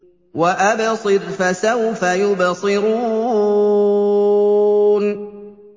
وَأَبْصِرْ فَسَوْفَ يُبْصِرُونَ